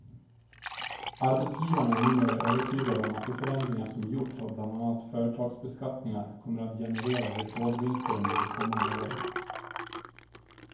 Arbetsgivarna är numera övertygade om att de förändringar som gjorts av bland annat företagsbeskattningar kommer att generera rekordvinster under de kommande åren.